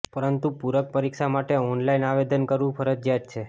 પરંતુ પૂરક પરીક્ષા માટે ઓનલાઈન આવેદન કરવુ ફરજિયાત છે